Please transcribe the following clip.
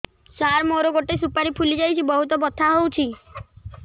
ସାର ମୋର ଗୋଟେ ସୁପାରୀ ଫୁଲିଯାଇଛି ବହୁତ ବଥା ହଉଛି